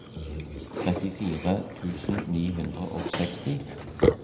trettifire tusen ni hundre og seksti